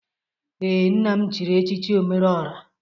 Ee, nna m chiri echichi omereọra